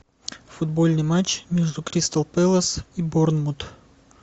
футбольный матч между кристал пэлас и борнмут